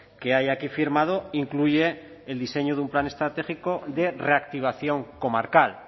que hay aquí firmado incluye el diseño de un plan estratégico de reactivación comarcal